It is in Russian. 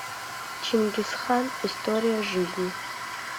чингисхан история жизни